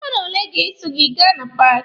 Mmadụ ole ga-eso gị aga na paaki?